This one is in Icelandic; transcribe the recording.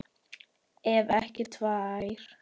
Ef ekki tvær.